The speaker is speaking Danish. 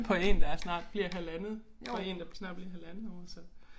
På én der er snart bliver halvandet for én der snart bliver halvandet år så